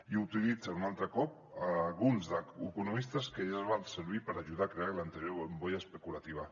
i utilitzen un altre cop alguns economistes que ja els van servir per ajudar a crear l’anterior bombolla especulativa